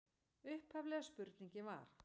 Upphaflega spurningin var: